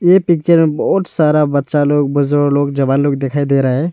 ये पिक्चर बहोत सारा बच्चा लोग लोग जवान लोग दिखाई दे रहा है।